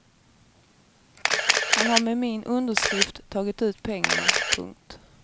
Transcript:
Han har med min underskrift tagit ut pengarna. punkt